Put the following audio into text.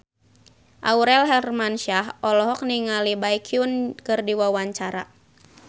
Aurel Hermansyah olohok ningali Baekhyun keur diwawancara